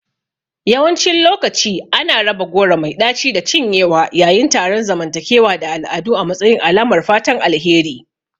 Yawancin lokaci ana raba goro mai ɗaci da cinyewa yayin taron zamantakewa da al'adu a matsayin alamar fatan alheri.